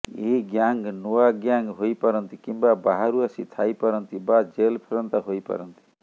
ଏହି ଗ୍ୟାଙ୍ଗ୍ ନୂଆ ଗ୍ୟାଙ୍ଗ୍ ହୋଇପାରନ୍ତି କିମ୍ବା ବାହାରୁ ଆସି ଥାଇପାରନ୍ତି ବା ଜେଲ ଫେରନ୍ତା ହୋଇ ପାରନ୍ତି